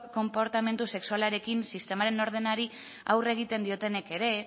konportamendu sexualarekin sistemaren ordenari aurre egiten diotenek ere